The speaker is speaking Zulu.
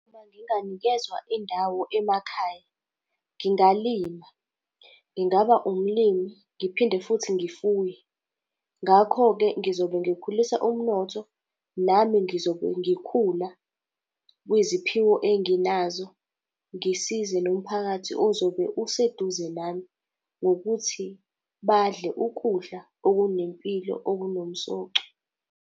Uma nginganikezwa indawo emakhaya. Ngingalima, ngingaba umlimi ngiphinde futhi ngifuye. Ngakho-ke ngizobe ngikhulisa umnotho, nami ngizobe ngikhula kwiziphiwo enginazo, ngisize nomphakathi ozobe useduze nami ngokuthi badle ukudla okunempilo, okunomsoco.